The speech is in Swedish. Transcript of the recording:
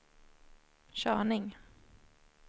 körning